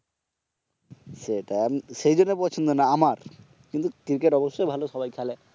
সেটাই সেইজন্য পছন্দ না আমার, কিন্তু ক্রিকেট অবসসই ভালো সবাই খেলে